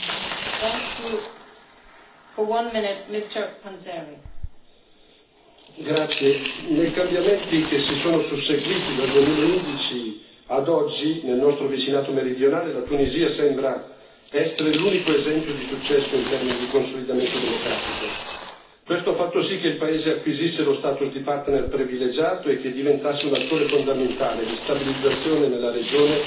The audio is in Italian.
Signora Presidente, onorevoli colleghi, nei cambiamenti che si sono susseguiti dal 2011 ad oggi nel nostro vicinato meridionale la Tunisia sembra essere l'unico esempio di successo in termini di consolidamento democratico. Questo ha fatto sì che il paese acquisisse lo status di partner privilegiato e che diventasse un attore fondamentale di stabilizzazione nella regione